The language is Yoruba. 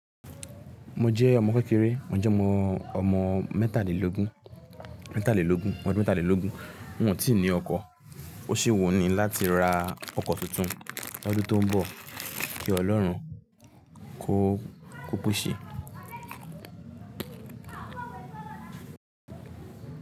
Mo jẹ́ ọmọ kékeré, mo jẹ́ ọmọ, ọmọ mẹ́ta lé lógún, mẹ́ta lé lógún, ọmọ mẹ́ta lé lógún. Mi ò tí ní ọkọ̀, ó ṣe wù mí láti ra ọkọ̀ tuntun lọ́dún tó ń bọ̀ kí Ọlọ́run kò, kò pèsè.